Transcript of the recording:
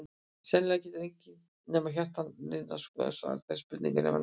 Sennilega getur enginn nema hjartnanna og nýrnanna skoðari svarað þessari spurningu með nákvæmni.